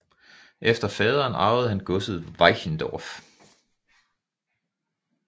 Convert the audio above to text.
Efter faderen arvede han godset Wischendorf